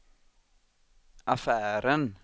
affären